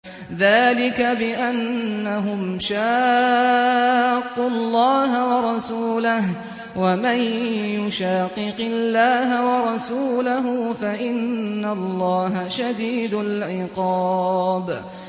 ذَٰلِكَ بِأَنَّهُمْ شَاقُّوا اللَّهَ وَرَسُولَهُ ۚ وَمَن يُشَاقِقِ اللَّهَ وَرَسُولَهُ فَإِنَّ اللَّهَ شَدِيدُ الْعِقَابِ